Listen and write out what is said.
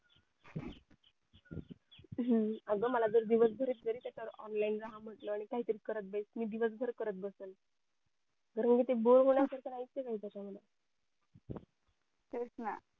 हम्म अगं मला जर दिवस भरही म्हटलं online राहा म्हटलं आणि काही तरी करत बस म्हटलं मी दिवस भर करत बसेल ते बोर होण्या पेक्षा हे नाही का चांगलं